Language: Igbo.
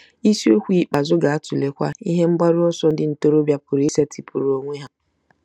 Isiokwu ikpeazụ ga-atụlekwa ihe mgbaru ọsọ ndị ntorobịa pụrụ isetịpụrụ onwe ha.